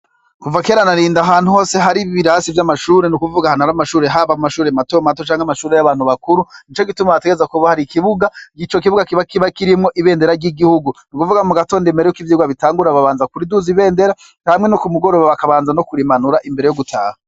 Kuva kera na rindi ahantu hose hari ibirasi vy'amashuri n' ukuvuga ahantu hari amashure haba mashuri matomato canke amashuri y'abantu bakuru, nico gituma hategereza kuba hari ikibuga; ico kibuga kiba kirimwo ibendera ry'igihugu. N'ukuvuga mu gatondo imbere yuko ivyigwa bitangura babanza kuriduza ibendera hama no ku mugoroba bakabanza no kurimanura imbere yo gutaha.